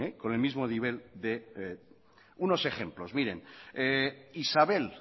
con el mismo nivel de unos ejemplos miren isabel